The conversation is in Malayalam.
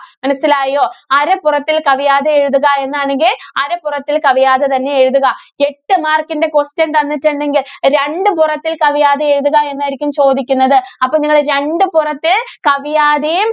മനസ്സിലായോ? അരപ്പുറത്തില്‍ കവിയാതെ എഴുതുക. എന്നാണെങ്കില്‍ അരപ്പുറത്തില്‍ കവിയാതെ തന്നെ എഴുതുക എട്ട് mark ന്റെ question തന്നിട്ടുണ്ടെങ്കില്‍ രണ്ട് പുറത്തില്‍ കവിയാതെ എഴുതുക എന്നായിരിക്കും ചോദിക്കുന്നത്. അപ്പോ നിങ്ങള് രണ്ട് പുറത്ത് കവിയാതെയും,